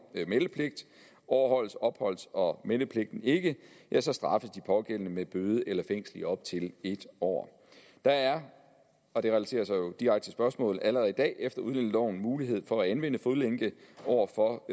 meldepligt overholdes opholds og meldepligten ikke ja så straffes de pågældende med bøde eller fængsel i op til en år der er og det relaterer sig jo direkte til spørgsmålet allerede i dag efter udlændingeloven mulighed for at anvende fodlænke over for